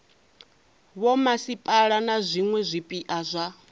vhomasipala na zwiwe zwipia zwa